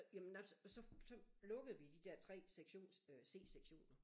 Jamen nej så så lukkede vi de der 3 sektion øh C-sektioner